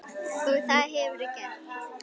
Og það hefurðu gert.